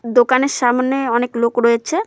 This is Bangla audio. দোকানের সামনে অনেক লোক রয়েছে।